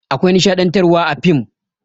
Akwai nishaɗantarwa a fim.